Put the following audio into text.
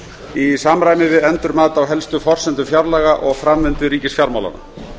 í samræmi við endurmat á helstu forsendum fjárlaga og framvindu ríkisfjármálanna